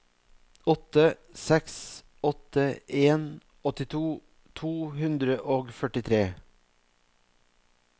åtte seks åtte en åttito to hundre og førtitre